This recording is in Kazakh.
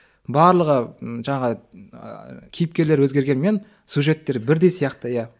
барлығы жаңағы кейіпкерлері өзгергенімен сюжеттері бірдей сияқты иә